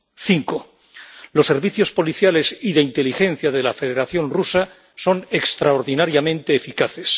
Cinco, los servicios policiales y de inteligencia de la Federación Rusa son extraordinariamente eficaces.